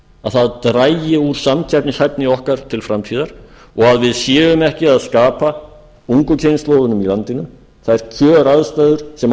að það dragi úr samkeppnishæfni okkar til framtíðar og við séum ekki að skapa ungu kynslóðinni í landinu þær kjöraðstæður sem hún